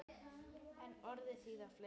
En orðið þýðir fleira.